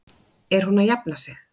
Er hún að jafna sig?